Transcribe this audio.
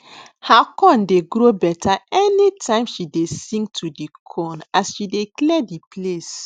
her corn dey grow better anytime she dey sing to the corn as she dey clear the place